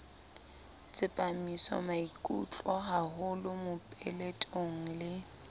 tsepamisa maikutlo haholo mopeletong le